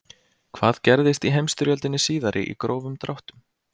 Hvað gerðist í heimsstyrjöldinni síðari í grófum dráttum?